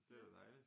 Det er jo dejligt